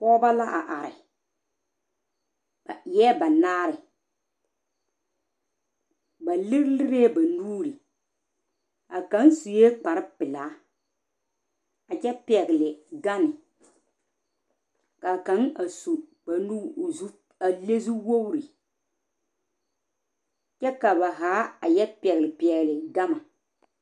pɔgbɔ la are ba eɛɛ banaare ba lere lerɛɛ ba nuuri a kang sue kpare pelaa a kyɛ pɛgle gane ka kanga a su kpare nu o zu a le zu wogri kyɛ ka ba zaa a yɔ pɛgle pɛgle gama